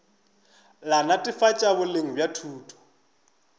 la netefatšo boleng bja thuto